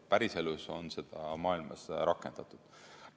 Päriselus on seda maailmas rakendatud.